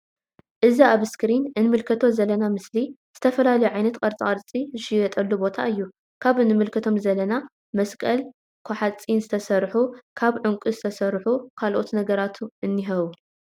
እዚ ኣብ እስክሪን እንምልከቶ ዘለና ምስሊ ዝተፈላለዩ ዓይነት ቅርጻ ቅርጺ ዝሽየጠሉ ቦታ እዩ ።ካብ እንምልከቶም ዘለና መስቀል ካ ሓጺን ዝተሰርሑን ካብ ዑንቂ ዝተሰርሑ ካልኦት ነገራት እኒሀዉ።